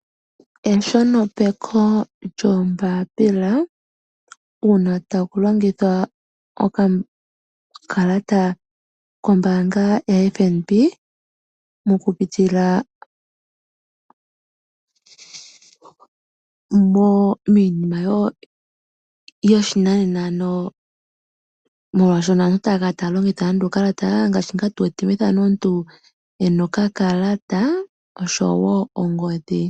Eshonopeko lyoombapila, uuna ta ku longithwa okakalata kombaanga yoFNB mokupitila miinima yoshinanena. Molwaashono aantu otaya kala taya longitha nande uukalata, omuntu e na okakalata nenge ongodhi.